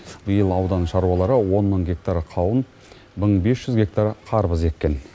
биыл аудан шаруалары он мың гектар қауын мың бес жүз гектар қарбыз еккен